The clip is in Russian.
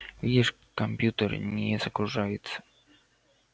видишь компьютер не загружается